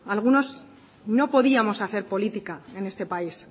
algunos no podíamos hacer política en este país